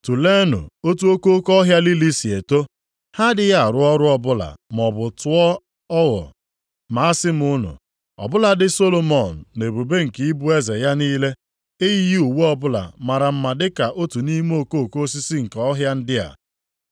“Tuleenụ otu okoko ọhịa lili si eto. Ha adịghị arụ ọrụ ọbụla maọbụ tụọ ogho. Ma asị m unu, ọ bụladị Solomọn nʼebube nke ịbụ eze ya niile, eyighị uwe ọbụla mara mma dị ka otu nʼime okoko osisi nke ọhịa ndị a.